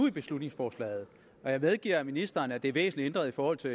i beslutningsforslaget jeg medgiver ministeren at forslaget er væsentligt ændret i forhold til